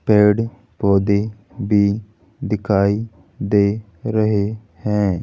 पेड़ पौधे भी दिखाई दे रहे हैं।